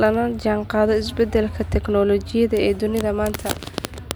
lana jaanqaado isbeddelka teknolojiyadda ee dunida maanta.